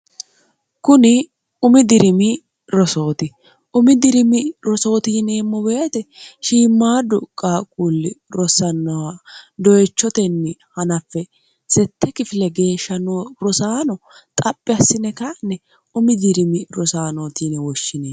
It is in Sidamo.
kuni umi dirimi rosooti umi dirimi rosooti yineemmo beete shiimmaaddu qaaqqulli rosannoha doyechotenni hanaffe sette kifile geeshsha rosaano xaphi assine kanne umi dirimi rosaanootine woshshine